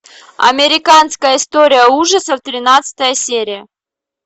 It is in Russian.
американская история ужасов тринадцатая серия